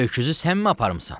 Öküzü sən mi aparmısan?